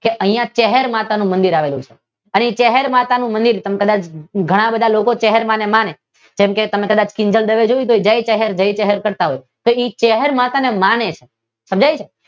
કે અહિયાં ચહેર માતાનું મંદિર આવેલું છે. અહિયાં ચહેર માતાનું તમે કદાચ ઘણા બધા લોકો ચહેર માતા ને માને. કેમ કે તમે કદાચ કિંજલ દવે જોઈ હશે તે જય ચહેર જય ચહેર કરતાં હોય કેમ તે ચહેર માતા ને માને છે. સમજાય છે કે તે